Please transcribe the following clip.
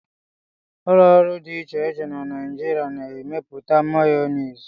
ụlọ ọrụ dị iche iche na Nigeria na-emepụta Mayonezi